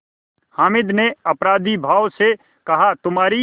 हामिद ने अपराधीभाव से कहातुम्हारी